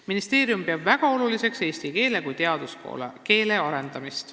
Ministeerium peab väga oluliseks eesti keele kui teaduskeele arendamist.